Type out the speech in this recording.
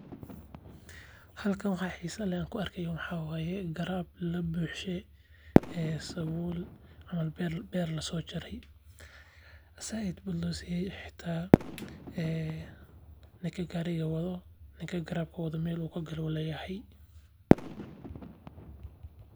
Halkan waxa xiisa leh an ku arkayo waxa waye garaab labuucshe sabul, ama beer lasoo jaray zaaid bud loo siye xata ee ninka gaari wado Mel uu kagalo ayuu leyahay